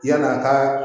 Yala a ka